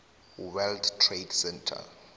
world trade center